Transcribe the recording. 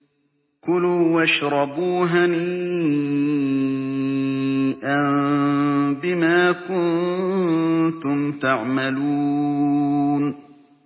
كُلُوا وَاشْرَبُوا هَنِيئًا بِمَا كُنتُمْ تَعْمَلُونَ